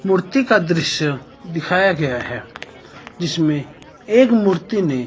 मूर्ति का दृश्य दिखाया गया है जिसमें एक मूर्ति ने--